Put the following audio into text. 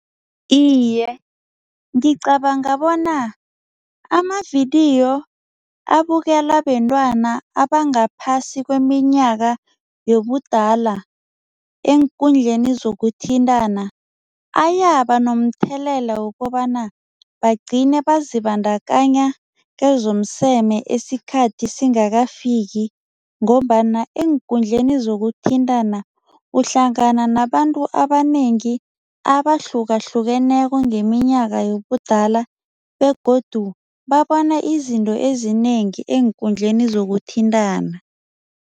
Iye, ngicabanga bona amavidiyo abukelwa bentwana abangaphasi kweminyaka yobudala eenkundleni zokuthintana ayabanomthelela wokobana bagcine bazibandakanya kezomseme isikhathi singakafiki ngombana eenkundleni zokuthintana uhlangana nabantu abanengi abahlukahlukeneko ngeminyaka yobudala begodu babona izinto ezinengi eenkundleni zokuthintana.